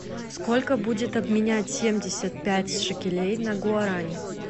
сколько будет обменять семьдесят пять шекелей на гуарани